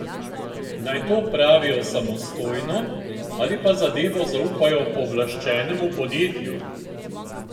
Naj to opravijo samostojno, ali pa zadevo zaupajo pooblaščenemu podjetju?